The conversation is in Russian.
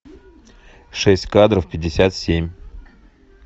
шесть кадров пятьдесят семь